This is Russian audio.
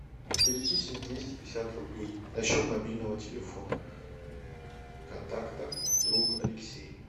перечислить двести пятьдесят рублей на счет мобильного телефона контакта друг алексей